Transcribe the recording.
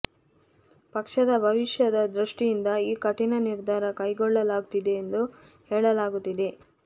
ಪಕ್ಷದ ಭವಿಷ್ಯದ ದೃಷ್ಠಿಯಿಂದ ಈ ಕಠಿಣ ನಿರ್ಧಾರ ಕೈಗೊಳ್ಳಲಾಗುತ್ತಿದೆ ಎಂದು ಹೇಳಲಾಗುತ್ತಿದೆ